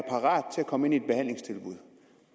komme ind i et behandlingstilbud